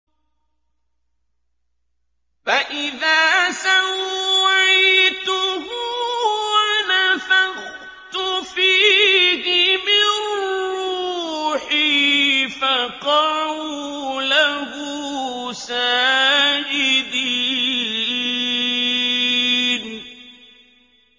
فَإِذَا سَوَّيْتُهُ وَنَفَخْتُ فِيهِ مِن رُّوحِي فَقَعُوا لَهُ سَاجِدِينَ